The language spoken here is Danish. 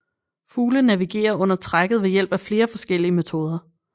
Fugle navigerer under trækket ved hjælp af flere forskellige metoder